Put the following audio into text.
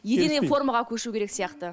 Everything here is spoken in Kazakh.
единный формаға көшу керек сияқты